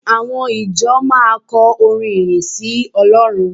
Àwọn ìjọ máa kọ orin ìyìn sí Ọlọ́run